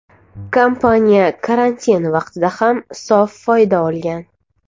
Kompaniya karantin vaqtida ham sof foyda olgan.